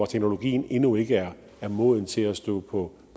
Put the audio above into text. teknologien endnu ikke er moden til at stå på